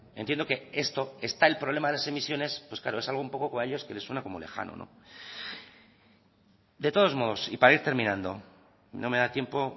entiendo que esto está el problema de las emisiones es algo que a ellos les suena un poco lejano de todos modos y para ir terminando no me da tiempo